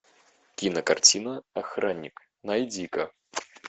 кинокартина охранник найди ка